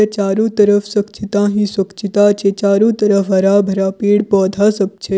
ऐ चारों तरफ स्वछता ही स्वछताछे चारों तरफ हरा-भरा पेड़-पौधा सब छे।